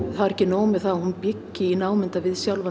það var ekki nóg með það að hún byggi í námunda við sjálfan